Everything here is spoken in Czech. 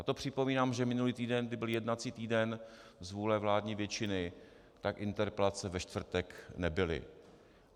A to připomínám, že minulý týden, kdy byl jednací týden z vůle vládní většiny, tak interpelace ve čtvrtek nebyly.